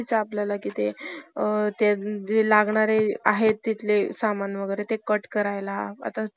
गलबतांन जायचं. त्यापेक्षा सातारा इथं जाऊन परीक्षा द्यायची असं ठरवलं. कारण मुंबईला जाणारं गल~ गलबतच,